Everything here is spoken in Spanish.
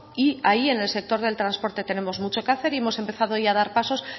y ahí en el sector del transporte tenemos mucho que hacer y hemos empezado ya a dar pasos